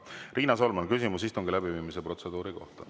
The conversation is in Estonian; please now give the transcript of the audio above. Riina Solman, küsimus istungi läbiviimise protseduuri kohta.